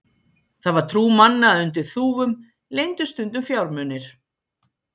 Það var trú manna að undir þúfum leyndust stundum fjármunir.